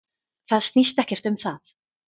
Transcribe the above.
Það snýst ekkert um það.